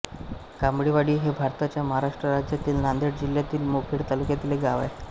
कामळेवाडी हे भारताच्या महाराष्ट्र राज्यातील नांदेड जिल्ह्यातील मुखेड तालुक्यातील एक गाव आहे